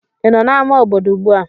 Ị nọ n'amá obodo ugbu a?